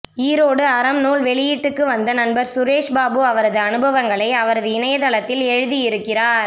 ஈரோடு அறம் நூல் வெளியீட்டுக்குவந்த நண்பர் சுரேஷ்பாபு அவரது அனுபவங்களை அவரது இணையதளத்தில் எழுதியிருக்கிறார்